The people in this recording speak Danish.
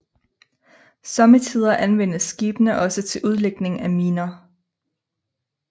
Somme tider anvendes skibene også til udlægning af miner